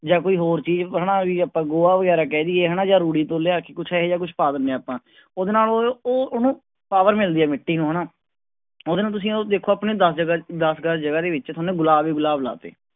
ਜਾਂ ਕੋਈ ਹੋਰ ਚੀਜ਼ ਹਨਾ ਵੀ ਆਪਾਂ ਗੋਹਾ ਵਗ਼ੈਰਾ ਕਹਿ ਦੇਈਏ ਹਨਾ ਜਾਂ ਰੂੜੀ ਤੋਂ ਲਿਆ ਕੇ ਕੁਛ ਇਹੋ ਜਿਹਾ ਕੁਛ ਪਾ ਦਿੰਦੇ ਹਾਂ ਆਪਾਂ ਉਹਦੇ ਨਾਲ ਉਹ ਉਹ ਉਹਨੂੰ power ਮਿਲਦੀ ਹੈ ਮਿਟੀ ਨੂੰ ਹਨਾ, ਉਹਦੇ ਨਾਲ ਤੁਸੀਂ ਉਹ ਦੇਖੋ ਆਪਣੇ ਦਸ ਜਗ੍ਹਾ ਦਸ ਗਜ਼ ਜਗ੍ਹਾ ਦੇ ਵਿੱਚ ਤੁਹਾਨੇ ਗੁਲਾਬ ਹੀ ਗੁਲਾਬ ਲਾ ਦਿੱਤੇ।